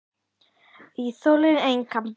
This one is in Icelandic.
Það þolir enga bið.